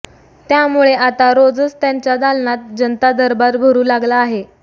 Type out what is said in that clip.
त्यामुळे आता रोजच त्यांच्या दालनात जनता दरबार भरू लागला आहे